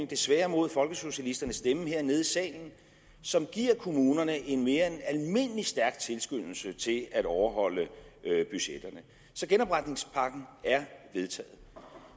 desværre mod folkesocialisternes stemmer som giver kommunerne en mere end almindelig stærk tilskyndelse til at overholde budgetterne så genopretningspakken er vedtaget